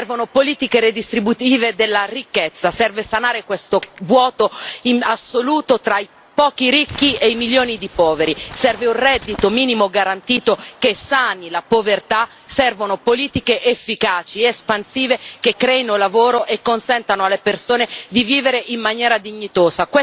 Servono politiche redistributive della ricchezza, serve sanare questo vuoto assoluto tra i pochi ricchi e i milioni di poveri, serve un reddito minimo garantito che sani la povertà, servono politiche efficaci espansive che creino lavoro e consentano alle persone di vivere in maniera dignitosa.